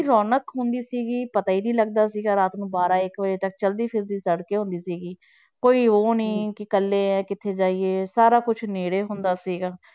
ਰੌਣਕ ਹੁੰਦੀ ਸੀਗੀ ਪਤਾ ਹੀ ਨੀ ਲੱਗਦਾ ਸੀਗਾ ਰਾਤ ਨੂੰ ਬਾਰਾਂ ਇੱਕ ਵਜੇ ਤੱਕ ਚਲਦੀ ਫਿਰਦੀ ਸੜਕੇਂ ਹੁੰਦੀ ਸੀਗੀ, ਕੋਈ ਉਹ ਨੀ ਕਿ ਇਕੱਲੇ ਕਿੱਥੇ ਜਾਈਏ ਸਾਰਾ ਕੁਛ ਨੇੜੇ ਹੁੰਦਾ ਸੀਗਾ।